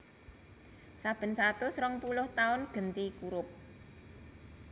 Saben satus rongpuluh taun genti kurup